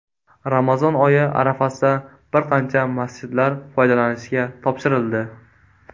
Ramazon oyi arafasida bir qancha masjidlar foydalanishga topshirildi.